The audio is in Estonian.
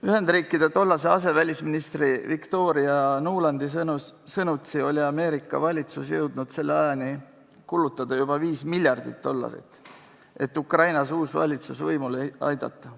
Ühendriikide tollase asevälisministri Victoria Nulandi sõnutsi oli Ameerika valitsus jõudnud selleks ajaks kulutada juba 5 miljardit dollarit, et Ukrainas uus valitsus võimule aidata.